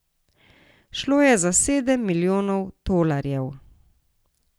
Šlo je za sedem milijonov tolarjev!